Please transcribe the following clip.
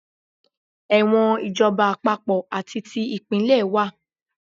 Ẹ̀wọ̀n ìjọba àpapọ̀ àti ti ìpínlẹ̀ wà.